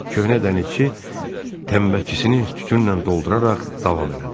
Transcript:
Köhnə dənizçi təmbəkisini tütünlə dolduraraq davam elədi: